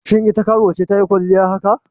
Shin ita karuwa ce ta yi kwalliya haka?